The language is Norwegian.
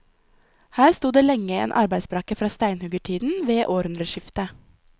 Her sto det lenge en arbeidsbrakke fra steinhuggertiden ved århundreskiftet.